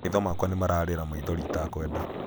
maitho makwa nĩmararĩra maithori itakwenda